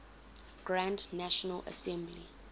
grand national assembly